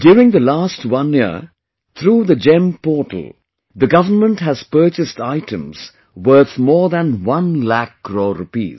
During the last one year through the GeM portal, the government has purchased items worth more than one lakh crore rupees